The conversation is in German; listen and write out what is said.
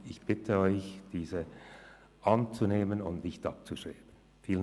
Ich bitte Sie, den Vorstoss anzunehmen und nicht abzuschreiben.